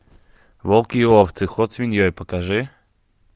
волки и овцы ход свиньей покажи